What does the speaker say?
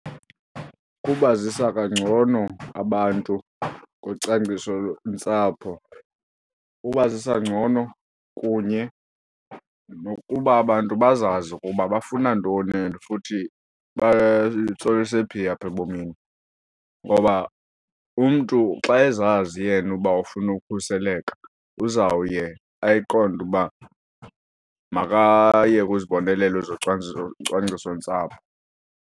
Kubazisa kangcono abantu ngocwangciso-ntsapho, ubazisa ngcono kunye nokuba abantu bazazi ukuba bafuna ntoni and futhi batsolise phi apha ebomini, ngoba umntu xa ezazi yena uba ufuna ukhuseleka uzawuye ayiqonde uba makaye kwizibonelelo ezocwangciso, cwangciso-ntsapho.